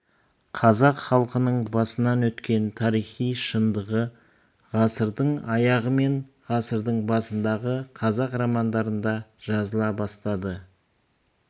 қазақ халқының басынан өткен тарихи шындығы ғасырдың аяғы мен ғасырдың басындағы қазақ романдарында жазыла бастады